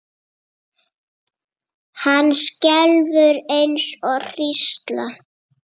Hann skelfur eins og hrísla.